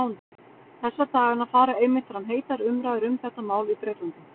Þessa dagana fara einmitt fram heitar umræður um þetta mál í Bretlandi.